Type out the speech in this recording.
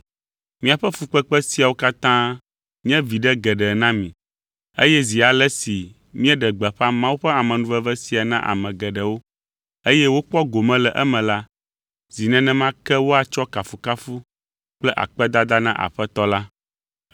Míaƒe fukpekpe siawo katã nye viɖe geɖe na mi, eye zi ale si míeɖe gbeƒã Mawu ƒe amenuveve sia na ame geɖewo, eye wokpɔ gome le eme la, zi nenema ke woatsɔ kafukafu kple akpedada na Aƒetɔ la.